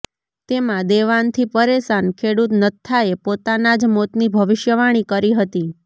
તેમાં દેવાંથી પરેશાન ખેડૂત નત્થાએ પોતાના જ મોતની ભવિષ્યવાણી કરી હતી